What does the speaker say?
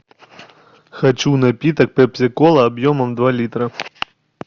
хочу напиток пепси кола объемом два литра